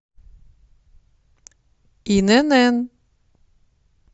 инн